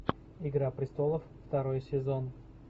игра престолов второй сезон